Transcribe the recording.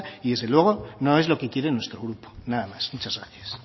y desde luego no es lo que quiere nuestro grupo nada más muchas gracias